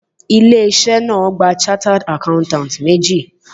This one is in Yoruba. Ilé iṣẹ́ náà gba chartered accountants méjì